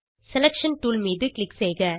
selection tool மீது click செய்க